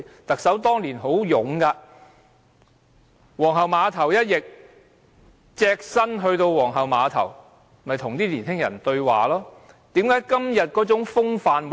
特首當年很勇猛，皇后碼頭一役，她隻身前赴皇后碼頭跟年輕人對話，何以今天不見這種風範呢？